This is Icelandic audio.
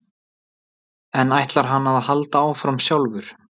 En ætlar hann að halda áfram sjálfur?